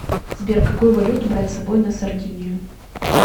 сбер какую валюту брать с собой на сардинию